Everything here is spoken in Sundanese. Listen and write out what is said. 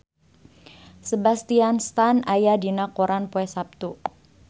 Sebastian Stan aya dina koran poe Saptu